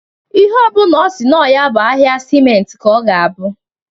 Ihe ọ bụna ọ si nọ ya bụ ahịa siment ka ọ ga-abụ.